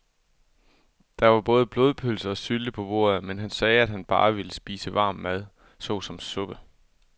Der var både blodpølse og sylte på bordet, men han sagde, at han bare ville spise varm mad såsom suppe.